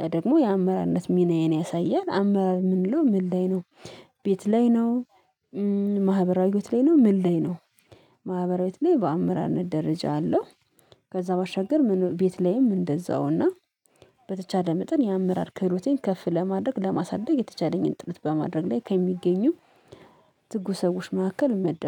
ያ ደግሞ የአመራነት ሚናዬን ያሳያል አመራር ምን ልለው ምን ላይ ነው ቤት ላይ ነው ማህበራዊ ሂወት ላይ ነው ምን ላይ ነው ማህበራዊዎች ላይ በአመራርነት ደረጃ አለው። ከዛ ባሻገር ቤት ላይም እንደዛውና በተቻለ መጠን የአመራር ክህሎቴን ከፍ ለማድረግ ለማሳደግ የተቻለኝን ጥረት በማድረግ ላይ ከሚገኙ ትጉ ሰዎች መካከል እመደብ